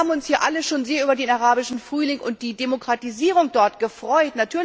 Wir haben uns hier alle schon sehr über den Arabischen Frühling und die Demokratisierung dort gefreut.